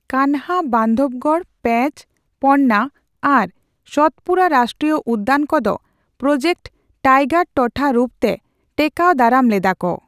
ᱠᱟᱱᱦᱟ, ᱵᱟᱸᱫᱣᱚᱜᱚᱲ, ᱯᱮᱸᱪᱚ, ᱯᱚᱱᱱᱟ ᱟᱨ ᱥᱚᱛᱯᱩᱲᱟ ᱨᱟᱥᱴᱨᱤᱭᱚ ᱩᱫᱫᱟᱱ ᱠᱚ ᱫᱚ ᱯᱨᱚᱡᱮᱠᱴ ᱴᱟᱭᱜᱟᱨ ᱴᱚᱴᱷᱟ ᱨᱩᱯ ᱛᱮ ᱴᱮᱠᱟᱣᱫᱟᱨᱟᱢ ᱞᱮᱫᱟ ᱠᱚ ᱾